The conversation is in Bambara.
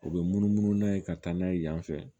U bɛ munumunu n'a ye ka taa n'a ye yan fɛ